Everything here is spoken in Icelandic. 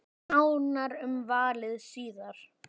Nánar um valið síðar.